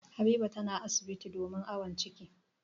Habiba tana asibiti domin awon ciki.